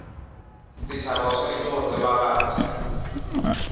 setšhaba o swanetše go tsebagatša